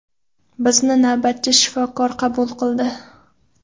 Bizni navbatchi shifokor qabul qildi.